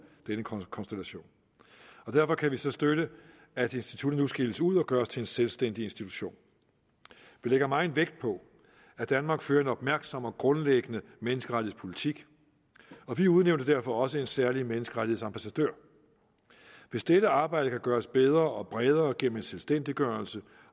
denne konstellation og derfor kan vi så støtte at instituttet nu skilles ud og gøres til en selvstændig institution vi lægger meget vægt på at danmark fører en opmærksom og grundlæggende menneskerettighedspolitik og vi udnævnte derfor også en særlig menneskerettighedsambassadør hvis dette arbejde kan gøres bedre og bredere gennem en selvstændiggørelse